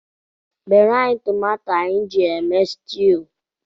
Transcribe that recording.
Bere anyị tomato anyị ji eme situ